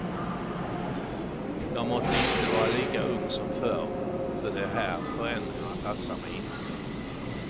Jag måtte inte vara lika ung som förr, för de här förändringarna passar mig inte.